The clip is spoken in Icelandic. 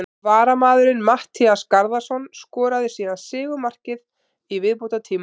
Varamaðurinn Matthías Garðarsson skoraði síðan sigurmarkið í viðbótartíma.